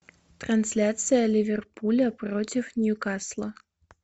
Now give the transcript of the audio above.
трансляция ливерпуля против ньюкасла